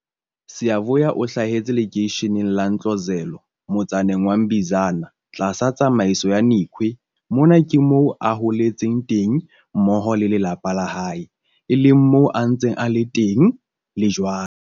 Siyavuya o hlahetse lekeisheneng la Ntlozelo motsaneng wa Mbizana tlasa tsamaiso ya Nikhwe. Mona ke moo a holetseng teng mmoho le lelapa la hae, e leng moo a ntseng a le teng le jwale.